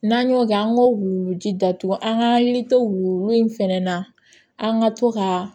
N'an y'o kɛ an k'o wuluji datugu an ka hakili to wulu in fɛnɛ na an ka to ka